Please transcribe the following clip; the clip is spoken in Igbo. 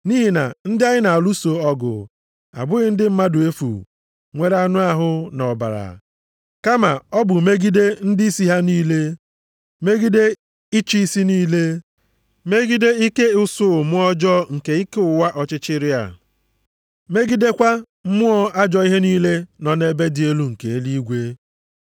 Nʼihi na ndị anyị na-alụso ọgụ abụghị ndị mmadụ efu nwere anụ ahụ na ọbara, kama ọ bụ megide ndịisi ha niile, megide ịchị isi niile, megide ike usuu mmụọ ọjọọ nke ike ụwa ọchịchịrị a, megidekwa mmụọ ajọ ihe niile nọ nʼebe dị elu nke eluigwe.